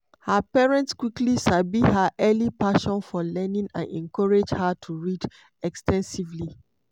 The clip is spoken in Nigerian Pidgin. her parents quickly sabi her early passion for learning and encourage her to read ex ten sively.